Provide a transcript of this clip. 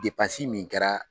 min kɛra.